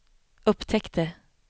upptäckte